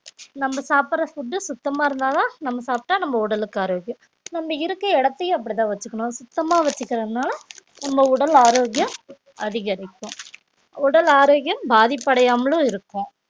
நம்ம சாப்பிடுற food உ சுத்தமா இருந்தாதான் நம்ம சாப்பிட்டா நம்ம உடலுக்கு ஆரோக்கியம் நம்ம இருக்க இடத்தையும் அப்படிதான் வச்சுக்கணும் சுத்தமா வச்சுக்கலைன்னா நம்ம உடல் ஆரோக்கியம் அதிகரிக்கும் உடல் ஆரோக்கியம் பாதிப்படையாமலும் இருக்கும்